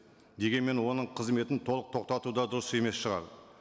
дегенмен оның қызметін толық тоқтату да дұрыс емес шығар